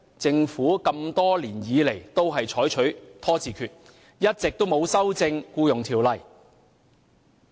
政府多年來均採取拖字訣，一直沒有修正《僱傭條例》。